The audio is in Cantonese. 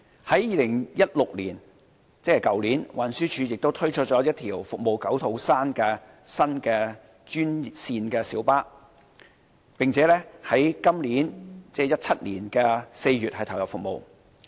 在2016年，運輸署亦推出了1條服務九肚山的新專線小巴路線，該路線於2017年4月投入服務。